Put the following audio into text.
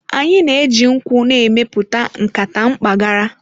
Anyị na-eji nkwụ na-emepụta nkata mpaghara.